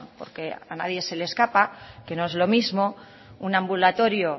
porque a nadie se le escapa que no es lo mismo un ambulatorio